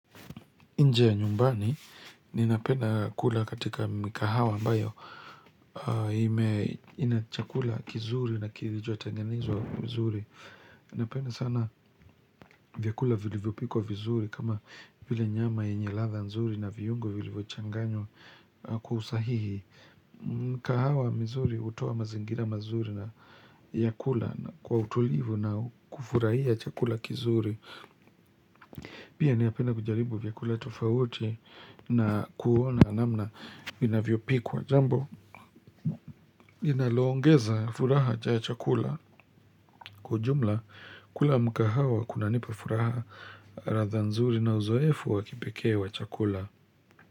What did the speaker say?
Inje ya nyumbani ninapena kula katika mkahawa ambayo ina chakula kizuri na kirichoutengenezwa mzuri. Napenda sana vyakula vilivyopikwa vizuri kama vile nyama yenye ladha nzuri na viungo vilivyochanganywa kwa usahihi. Mkahawa mzuri utoa mazingira mazuri na vyakula kwa utulivu na kufurahia chakula kizuri. Pia ninapenda kujaribu vyakula tofauti na kuona namna vinavyopikwa jambo inaloongeza furaha cha chakula kwa ujumla kula mkahawa kunanipa furaha radha nzuri na uzoefu wa kipekee wa chakula.